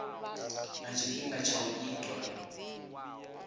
na tshifhinga tsha u itwa